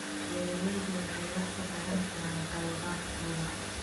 Beeraleydu waxay wax ka baran karaan khaladaadkooda.